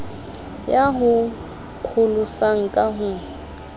ya ho pholosa ka ho